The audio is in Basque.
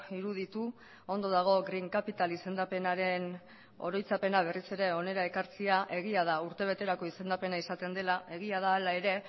iruditu ondo dago green capital izendapenaren oroitzapena berriz ere hona ekartzea egia da urtebeterako izendapena izaten dela egia da hala ere